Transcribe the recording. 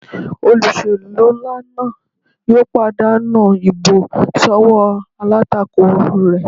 Olóṣèlú nlá náà yóò pàdánù ìbò sọ́wọ́ alátakò rẹ̀